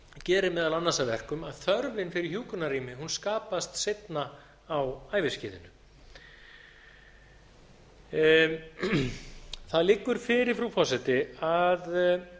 gerir meðal annars að verkum að þörfin fyrir hjúkrunarrými skapast seinna á æviskeiðinu það liggur fyrir frú forseti að